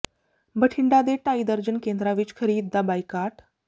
ਬਠਿੰਡਾ ਦੇ ਢਾਈ ਦਰਜਨ ਕੇਂਦਰਾਂ ਵਿੱਚ ਖਰੀਦ ਦਾ ਬਾਈਕਾਟ